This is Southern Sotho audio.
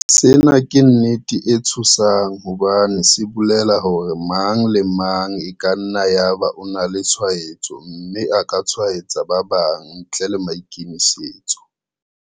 Sena ke nnete e tshosang hobane se bolela hore mang le mang e ka nna ya ba o na le tshwaetso mme a ka tshwaetsa ba bang ntle le maikemisetso.